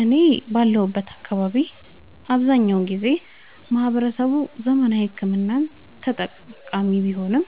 እኔ ባለሁበት አካባቢ አብዛኛውን ጊዜ ማህበረሰቡ ዘመናዊ ሕክምና ተጠቃሚ ቢሆንም